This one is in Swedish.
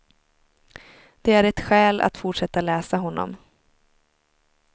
Det är ett skäl att fortsätta läsa honom.